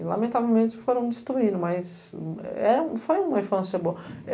E, lamentavelmente, foram destruídos, mas foi uma infância boa.